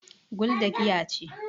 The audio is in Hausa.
gulda giya ce